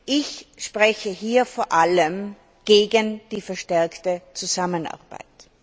Ich spreche hier vor allem gegen die verstärkte Zusammenarbeit.